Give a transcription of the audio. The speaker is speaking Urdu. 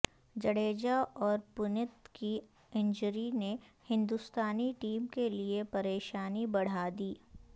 جڈیجہ اور پنت کی انجری نے ہندوستانی ٹیم کے لئے پریشانی بڑھا دی